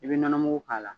I bɛ nɔnɔ mugu k'a la